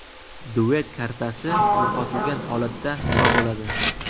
Duet kartasi yo‘qotilgan holatda nima bo‘ladi?